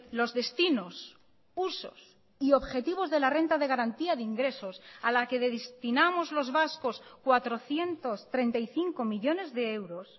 los destinos usos y objetivos de la renta de garantía de ingresos a la que destinamos los vascos cuatrocientos treinta y cinco millónes de euros